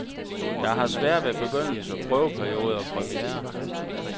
Jeg har sværere ved begyndelser, prøveperioder, premierer.